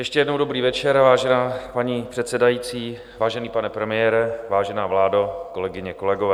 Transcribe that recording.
Ještě jednou dobrý večer, vážená paní předsedající, vážený pane premiére, vážená vládo, kolegyně, kolegové.